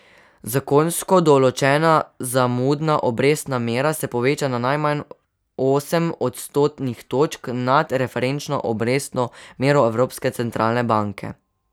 Zakonsko določena zamudna obrestna mera se poveča na najmanj osem odstotnih točk nad referenčno obrestno mero Evropske centralne banke.